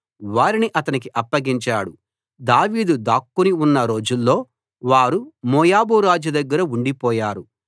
వారిని అతనికి అప్పగించాడు దావీదు దాక్కుని ఉన్న రోజుల్లో వారు మోయాబు రాజు దగ్గర ఉండిపోయారు